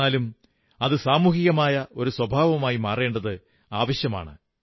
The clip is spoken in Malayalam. എന്നാലും അത് സാമൂഹികമായ ഒരു സ്വഭാവമായി മാറേണ്ടത് ആവശ്യമാണ്